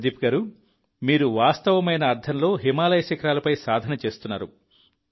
ప్రదీప్ గారూ మీరు వాస్తవమైన అర్థంలో హిమాలయాల శిఖరాలపై సాధన చేస్తున్నారు